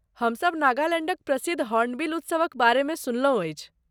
हमसभ नागालैण्डक प्रसिद्ध हॉर्नबिल उत्सवक बारेमे सुनलहुँ अछि।